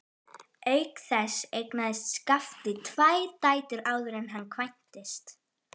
Auk þess eignaðist Skafti tvær dætur áður en hann kvæntist.